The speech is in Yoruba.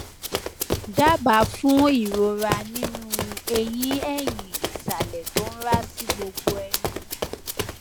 dábàá fún ìrora nínú eyín ẹyin ìsàlẹ tó ń ra sí gbogbo ẹnu